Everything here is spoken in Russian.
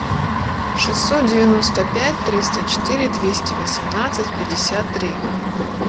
шестьсот девяносто пять триста четыре двести восемнадцать пятьдесят три